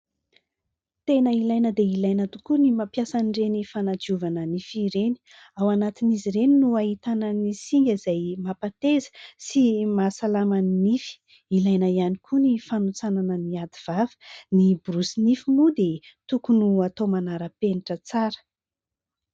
Tena ilaina dia ilaina tokoa ny mampiasa ireny fanadiovana nify ireny ; ao anatin'izy ireny no ahitanan'ny singa izay mampahateza sy mahasalaman'ny nify. Ilaina ihany koa ny fanontsanana ny ativava, ny borosy nify moa dia tokony atao manara-penitra tsara.